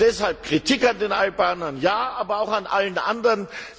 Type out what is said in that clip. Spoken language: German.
Deshalb Kritik an den Albanern ja, aber auch an allen anderen.